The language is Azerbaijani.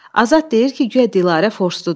Azad deyir ki, guya Dilarə forsdudur.